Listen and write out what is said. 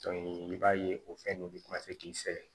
i b'a ye o fɛn ninnu de tamase k'i sɛgɛn